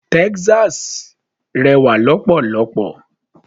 Texas rẹwà lọ́pọ̀lọ́pọ̀.